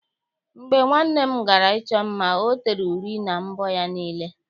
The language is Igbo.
Mgbe nwanne m gara ịchọ mma, ọ tere uri na mbọ ya niile.